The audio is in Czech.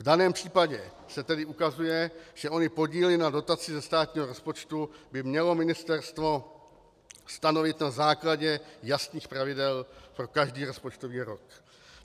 V daném případě se tedy ukazuje, že ony podíly na dotaci ze státního rozpočtu by mělo ministerstvo stanovit na základě jasných pravidel pro každý rozpočtový rok.